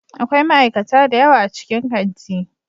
Akwai ma'aikata da yawa a cikin kanti.